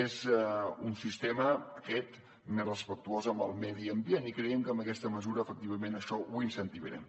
és un sistema aquest més respectuós amb el medi ambient i creiem que amb aquesta mesura efectivament això ho incentivarem